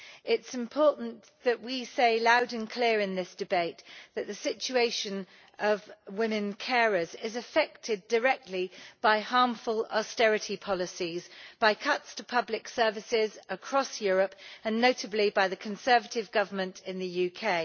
It is important that we say loud and clear in this debate that the situation of women carers is affected directly by harmful austerity policies, by cuts to public services across Europe, and notably by the Conservative Government in the UK.